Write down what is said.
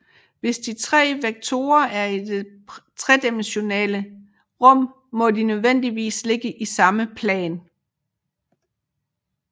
Hvis de tre vektorer er i det tredimensionale rum må de nødvendigvis ligge i samme plan